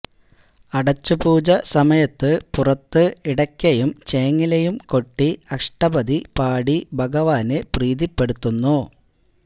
അടച്ചുപൂജ സമയത്തു പുറത്തു ഇടയ്ക്കയും ചേങ്ങിലയും കൊട്ടി അഷ്ടപദി പാടി ഭഗവാനെ പ്രീതിപ്പെടുത്തുന്നു